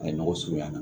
A ye nɔgɔ surunya